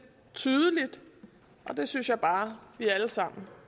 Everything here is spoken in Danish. tydeligt og det synes jeg bare at vi alle sammen